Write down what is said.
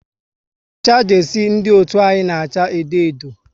Ucha jesie ndị otu anyị na acha edo edo